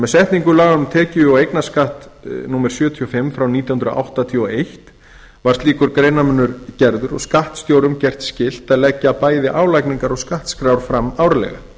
með setningu laga um tekjuskatt og eignarskatt númer sjötíu og fimm fjórtánda september nítján hundruð áttatíu og eitt var slíkur greinarmunur gerður og skattstjórum gert skylt að leggja bæði álagningar og skattskrár fram árlega